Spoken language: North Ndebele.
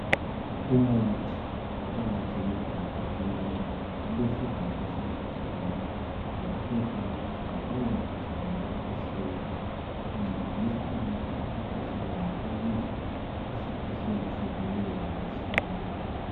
Umuthi ophakathi kwegabha elimnyama lilesivalo esiyi green lephepha eliyi green, lowo muthi ngowoku khwehlela. Uncedisa emuntwini okhwehlelayo ukuze isikhwehlela sivuleke masinya.